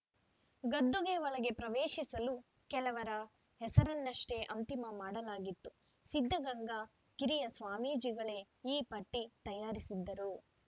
ಗದ್ದುಗೆ ಒಳಗೆ ಪ್ರವೇಶಿಸಲು ಕೆಲವರ ಹೆಸರನ್ನಷ್ಟೇ ಅಂತಿಮ ಮಾಡಲಾಗಿತ್ತು ಸಿದ್ಧಗಂಗಾ ಕಿರಿಯ ಸ್ವಾಮೀಜಿಗಳೇ ಈ ಪಟ್ಟಿತಯಾರಿಸಿದ್ದರು